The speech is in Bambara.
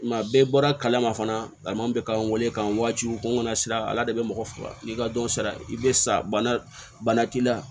Kuma bɛɛ bɔra kalama fana a man kan waati o kunna sira ala de bɛ mɔgɔ faga n'i ka dɔn sara i bɛ sa bana k'i la